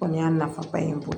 Kɔni y'a nafaba ye